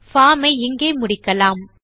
form ஐ இங்கே முடிக்கலாம்